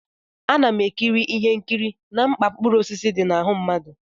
Ana m ekiri ihe nkiri na mkpa mkpụrụ osisi dị na ahụ mmadụ.